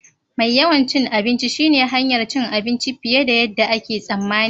Mai yawan cin abinci shine hanyar cin abinci fiye da yadda ake tsammani.